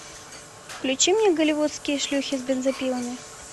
включи мне голливудские шлюхи с бензопилами